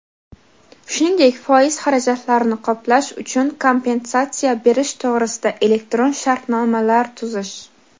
shuningdek foiz xarajatlarini qoplash uchun kompensatsiya berish to‘g‘risida elektron shartnomalar tuzish;.